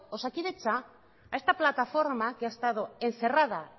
osakidetza a esta plataforma que ha estado encerrada